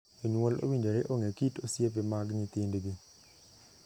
Jonyuol owinjore ong'ee kit osiepe mag nyithindgi.